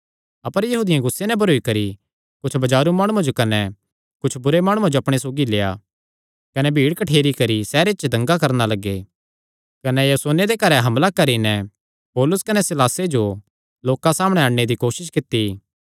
अपर यहूदियां गुस्से नैं भरोई करी कुच्छ बाजारू माणुआं जो कने कुच्छ बुरे माणुआं जो अपणे सौगी लेआ कने भीड़ कठ्ठेरी करी सैहरे च दंगा करणा लग्गे कने यासोने दे घरैं हमला करी नैं पौलुस कने सीलासे जो लोकां सामणैं अणने दी कोसस कित्ती